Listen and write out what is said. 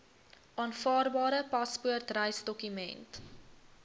aanvaarbare paspoort reisdokument